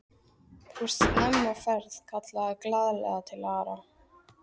Þú ert snemma á ferð! kallaði hann glaðlega til Arnar.